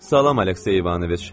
Salam, Aleksey İvanoviç!